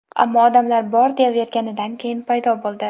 ammo odamlar bor deyaverganidan keyin paydo bo‘ldi.